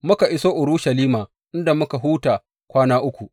Muka iso Urushalima, inda muka huta kwana uku.